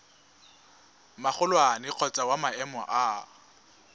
magolwane kgotsa wa maemo a